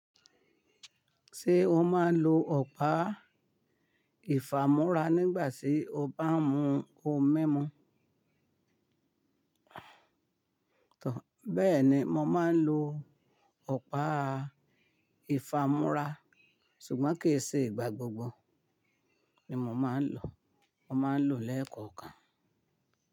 Ṣé o máa ń lo ọ̀pá ìfámora nígbà tí o bá ń mu ohun mímu? Tọ̀, bẹ́ẹ̀ni mo máa ń lo ọ̀pá ìfámora, ṣùgbọ́n kì í ṣe ìgbà gbogbo ni mo máa ń lò, mo máa ń lò lẹ́ẹ̀kọ̀ọ̀kan.